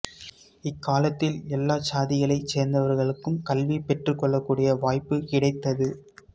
இக்காலத்தில் எல்லாச் சாதிகளைச் சேர்ந்தவர்களும் கல்வி பெற்றுக்கொள்ளக்கூடிய வாய்ப்புக் கிடைத்தது